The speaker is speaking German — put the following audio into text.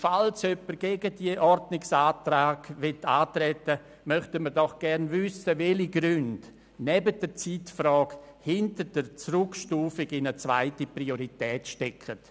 Falls jemand gegen die Ordnungsanträge antreten will, möchten wir doch gerne wissen, welche Gründe neben der Zeitfrage hinter der Zurückstufung in die zweite Priorität stecken.